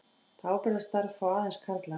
Það ábyrgðarstarf fá aðeins karlar.